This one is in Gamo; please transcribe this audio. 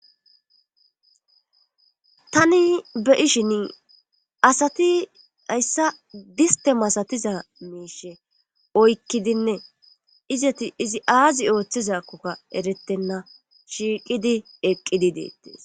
Tani be ishin asati hayssa diste masatiza meishe oykkidinne izati izi aazi ooththizakkokka erettenna shiiqidi eqqidi deettees.